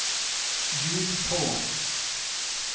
ljud på